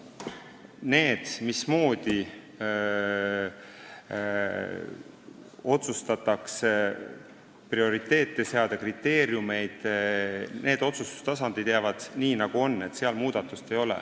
Need otsustustasandid, mismoodi prioriteete ja kriteeriumeid seada, jäävad nii, nagu nad on, seal muudatusi ei ole.